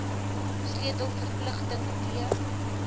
sleutel verpligting t